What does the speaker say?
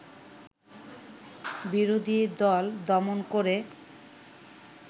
বিরোধী দল দমন করে